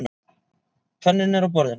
Penninn er á borðinu.